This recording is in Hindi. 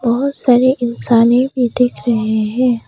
बहोत सारे इंसाने भी दिख रहे है।